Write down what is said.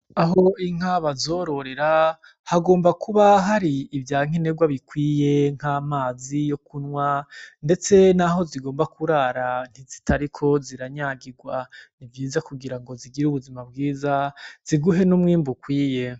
Aho Inka bazororera hagomba kuba hari ivyankenerwa bikwiye nk'amazi yo kunwa ndetse naho zigomba kurara zutariko ziranyagirwa nivyiza kugirango zigire ubuzima bwiza ziguhe n'umwimbu ukwiye .